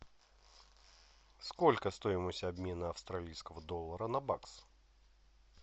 сколько стоимость обмена австралийского доллара на бакс